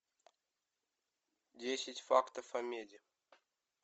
десять фактов о меди